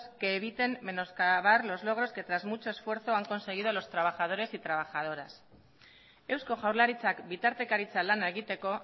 que eviten menoscabar los logros que tras mucho esfuerzo han conseguido los trabajadores y trabajadoras eusko jaurlaritzak bitartekaritza lana egiteko